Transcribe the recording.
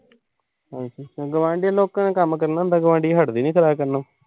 ਅੱਛਾ। ਗੁਆਂਢੀਆਂ ਨੂੰ ਕਹੋ, ਕੋਈ ਕੰਮ ਕਰਨਾ ਹੁੰਦਾ। ਗੁਆਂਢੀ ਹਟਦੇ ਈ ਨੀਂ ਕਰਨੋ।